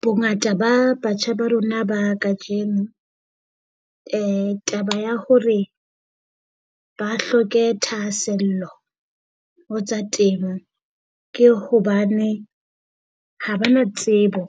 Bongata ba batjha ba rona ba kajeno taba ya hore ba hloke thahasello ho tsa temo ke hobane ha ba na tsebo